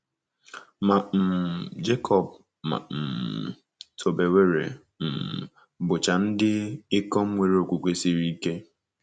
Ma um Jekọb ma um Tobewere um bụcha ndị ikom nwere okwukwe siri ike.